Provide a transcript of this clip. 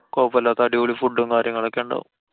കൊഴപ്പല്ല്യാത്ത അടിപൊളി food ഉം കാര്യങ്ങളൊക്കെ ഉണ്ടാവും.